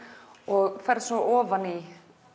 og ferð svo ofan í